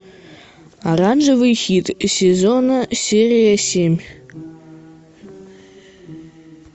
оранжевый хит сезона серия семь